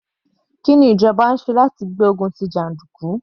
Kí ni ìjọba ń ṣe láti gbé ogun tí jàndùkú?